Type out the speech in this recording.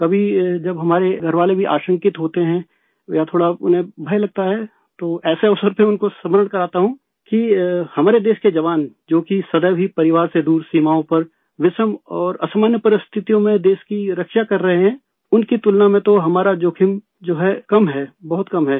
कभी जब हमारे घरवाले भी आशंकित होते है या थोड़ा उन्हें भय लगता है तो ऐसे अवसर पर उनको स्मरण कराता हूँ कि हमारे देश के जवान जो कि सदैव ही परिवार से दूर सीमाओं पर विषम और असामान्य परिस्थितियों में देश की रक्षा कर रहे हैं उनकी तुलना में तो हमारा जोखिम जो है कम है बहुत कम है